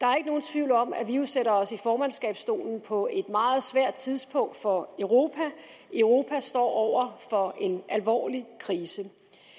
tvivl om at vi jo sætter os i formandskabsstolen på et meget svært tidspunkt for europa europa står over for en alvorlig krise